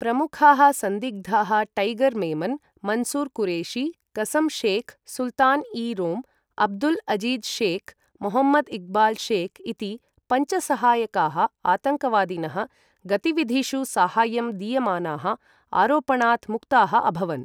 प्रमुखाः सन्दिग्धाः टैगर् मेमन्, मन्सूर् कुरेशी, कसं शेख्, सुल्तान् ई रोम्, अब्दुल् अज़ीज़ शेख्, मोहम्मद् इक्बाल् शेख् इति पञ्च सहायकाः आतङ्कवादिनः गतिविधिषु साहाय्यं दीयमानाः आरोपणात् मुक्ताः अभवन्।